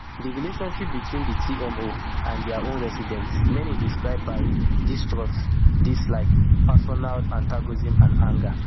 di relationship between di tmo and dia own residents many describe am by distrust dislike personal antagonism and anger